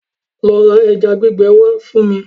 Lo ra ẹja gbígbẹ wá fún mi!